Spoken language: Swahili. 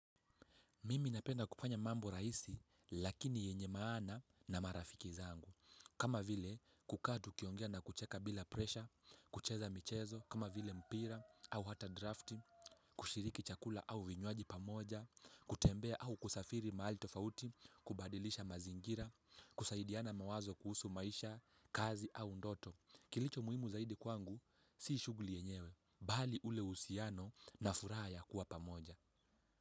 Mimi napenda kuanya mambo rahisi lakini yenye maana na marafiki zangu. Kama vile kukaa tukiongea na kucheka bila presha, kucheza michezo, kama vile mpira au hata drafti, kushiriki chakula au vinywaji pamoja, kutembea au kusafiri mahali tofauti, kubadilisha mazingira, kusaidiana mawazo kuhusu maisha, kazi au ndoto. Kilicho muhimu zaidi kwangu, si shughuli yenyewe, bali ule uhusiano na furaha ya kuwa pamoja.